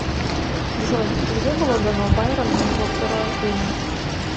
джой где было дано байрону его второе имя